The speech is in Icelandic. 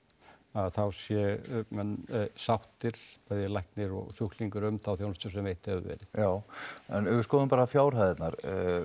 að þá séu menn sáttir bæði læknir og sjúklingur um þá þjónustu sem veitt hefur verið já en ef við skoðum bara fjárhæðirnar